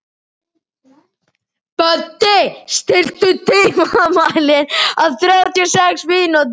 Böddi, stilltu tímamælinn á þrjátíu og sex mínútur.